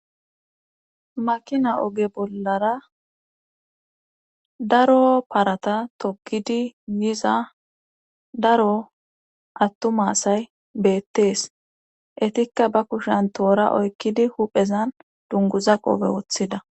makina oge bollara daro parata toggidi yiza daro attuma asay beettees etikka ba kushen toora oykkidi huphezan dunguza qoofe woththida